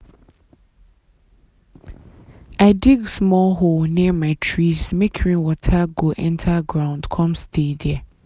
i dig small hole near my trees make rainwater go enter ground come stay there.